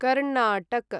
Karnataka